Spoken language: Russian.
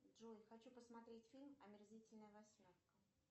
джой хочу посмотреть фильм омерзительная восьмерка